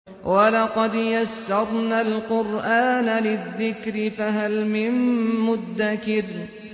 وَلَقَدْ يَسَّرْنَا الْقُرْآنَ لِلذِّكْرِ فَهَلْ مِن مُّدَّكِرٍ